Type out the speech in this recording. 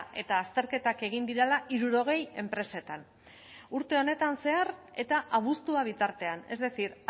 eta azterketak egin direla hirurogei enpresetan urte honetan zehar eta abuztua bitartean es decir